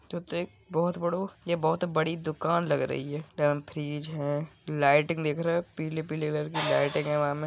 '' ये तो एक''''बहुत बढ़ो या बहुत बड़ी दुकान लग रही हैं यहा फ्रिज हैं लाइटिंग देख रहे हो पीले पीले कलर की लाइटिंग हैं वहा में --''